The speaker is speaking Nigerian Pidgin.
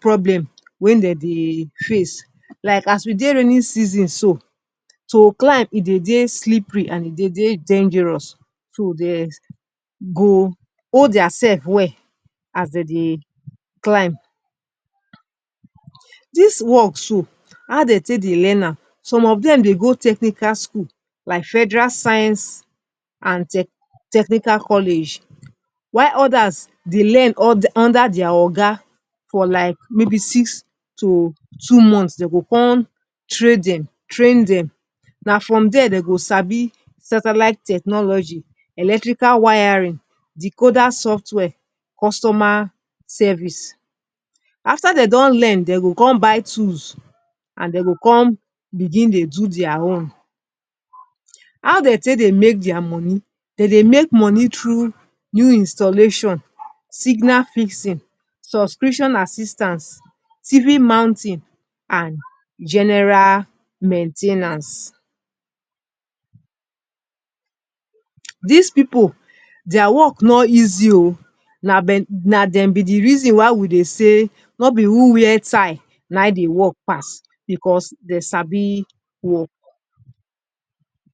problem wey dem dey face. Like as we dey rainy season so, to climb e dey slippery and e dey dangerous. So, dem go hold diaself well as dem dey climb. Dis wok so, how dem take dey learn am? Some of dem dey go technical school like Federal Science and Technical College, while odas dey learn under dia oga for like maybe six to two months. Dem go come train dem. Na from dire dem go sabi satellite technology, electrical wiring, decoder software, customer service. After dey don learn, dem go come buy tools, den dem go come begin dey do dia own. How dem take dey make dia money? Dem dey make money through new installation, signal fixing subscription assistance, TV mounting and general main ten ance. Dis Pipu, dia wok no easy o. Na dem be di reason why we dey say no be who wear tie na im dey wok pass, bicos dem sabi wok.